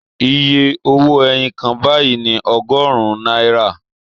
Iye owó ẹyin kan báyìí ni ọgọ́rùn-ún náírà